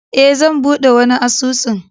E, zan buɗe wani asusun